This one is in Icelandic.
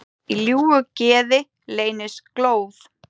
Í ljúfu geði leynist glóð.